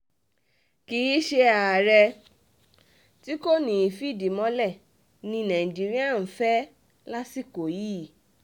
kì í ṣe àárẹ̀ tí kò ní í fìdí mọ́lẹ̀ ni nàìjíríà ń fẹ́ lásìkò yìí